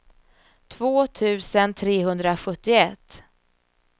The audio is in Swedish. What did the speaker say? två tusen trehundrasjuttioett